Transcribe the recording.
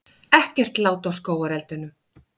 Ekkert lát á skógareldunum